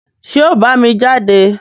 ṣé ọ̀ ọ́ bámi jáde?